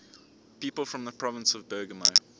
people from the province of bergamo